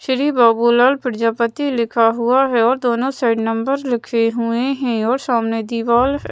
श्री बाबूलाल प्रजापति लिखा हुआ है और दोनों साइड नंबर लिखे हुए हैं और सामने दीवाल --